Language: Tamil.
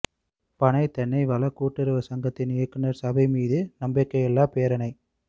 பனை தென்னைவள கூட்டுறவுச் சங்கத்தின் இயக்குநர் சபை மீது நம்பிக்கையில்லா பிரேரணை